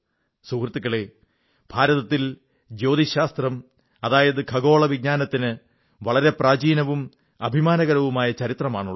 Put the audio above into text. സുഹൃത്തുക്കളേ ഭാരതത്തിൽ ജ്യോതിശാസ്ത്രം അതായത് ഖഗോള വിജ്ഞാനത്തിന് വളരെ പ്രാചീനവും അഭിമാനകരവുമായ ചരിത്രമാണുള്ളത്